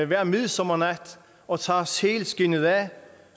hver midsommernat og tager sælskindet af